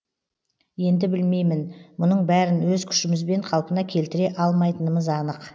енді білмеймін мұның бәрін өз күшімізбен қалпына келтіре алмайтынымыз анық